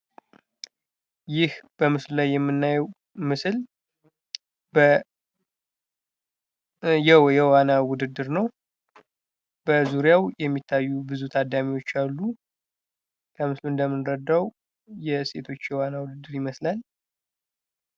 ይህ በምስሉ ላይ የምናየው ምስል የዋና ውድድር ነው። በዙሪያው የሚታዩ ብዙ ታዳሚዎች አሉ። ከምስሉ እንደምንረዳው የሴቶች የዋና ውድድር ይመስላል።